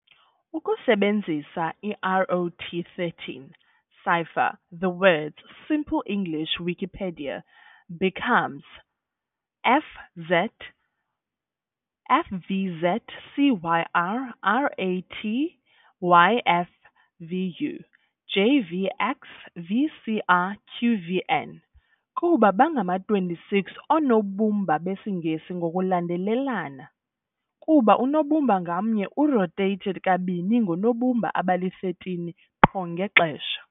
Ukusebenzisa i-ROT13 cipher, the words "Simple English Wikipedia" becomes "Fvzcyr Ratyvfu Jvxvcrqvn". Kuba bangama-26 oonobumba besiNgesi ngokulandelelana, kuba unobumba ngamnye u-rotated kanibini ngoonobumba abali-13 qho ngexesha.